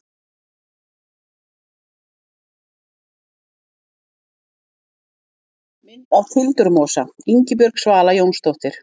Mynd af tildurmosa: Ingibjörg Svala Jónsdóttir.